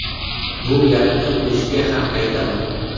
Bu gapni o‘ziga ham aytaman.